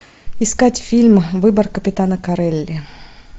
искать фильм выбор капитана корелли